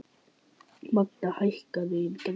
Magda, hækkaðu í græjunum.